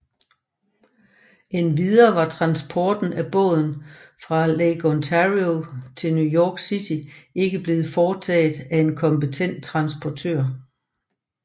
Endvidere var transporten af båden fra Lake Ontario til New York City ikke blevet foretaget af en kompetent transportør